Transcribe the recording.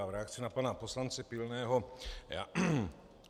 Já v reakci na pana poslance Pilného.